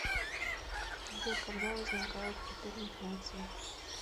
сбер когда возникает гиперинфляция